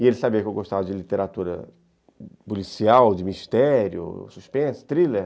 E ele sabia que eu gostava de literatura policial, de mistério, suspense, thriller.